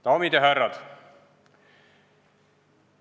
Daamid ja härrad!